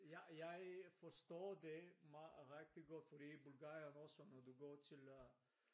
Jeg forstår det meget rigtig godt fordi i Bulgarien også når du går til øh